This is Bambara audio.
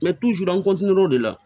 an o de la